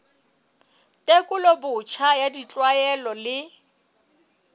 tekolo botjha ya ditlwaelo le